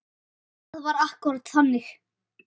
Það var akkúrat þannig.